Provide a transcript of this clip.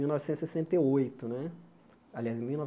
Mil novecentos e sessenta e oito né aliás mil